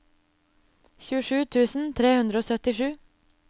tjuesju tusen tre hundre og syttisju